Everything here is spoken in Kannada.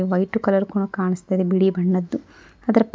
ವೈಟ್ ಕಲರು ಕು ಕಾಣಸ್ತಾಇದೆ ಬಿಳಿ ಬಣ್ಣದ್ದು ಅದರ ಪಕ್ --